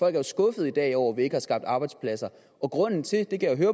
er jo skuffede i dag over at vi ikke har skabt arbejdspladser og grunden til det det kan